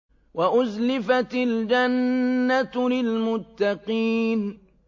وَأُزْلِفَتِ الْجَنَّةُ لِلْمُتَّقِينَ